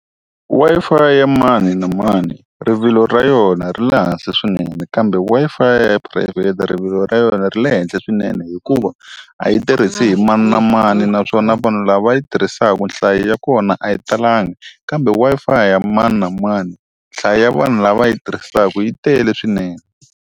Wi-Fi ya mani na mani, rivilo ra yona ri le hansi swinene kambe Wi-Fi ya phurayivhete rivilo ra yona ri le henhla swinene hikuva, a yi tirhisi hi mani na mani naswona vanhu lava yi tirhisaka nhlayo ya kona a yi talanga. Kambe Wi-Fi ya mani na mani nhlayo ya vanhu lava yi tirhisaka yi tele swinene.